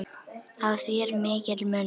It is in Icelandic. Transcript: Á því er mikill munur.